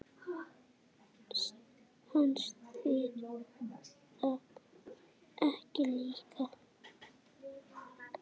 Fannst þér það ekki líka?